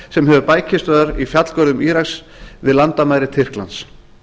sem hefur bækistöðvar í fjallgörðum íraks við landamæri tyrklands